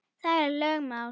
Það er lögmál.